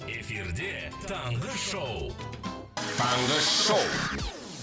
эфирде таңғы шоу таңғы шоу